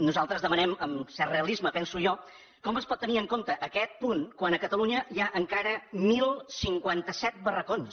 nosaltres ens demanem amb cert realisme ho penso jo com es pot tenir en compte aquest punt quan a catalunya hi ha encara deu cinquanta set barracons